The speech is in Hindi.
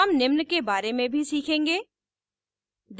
हम निम्न के बारे में भी सीखेंगे